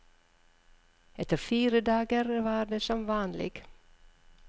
Etter fire dager var det som vanlig.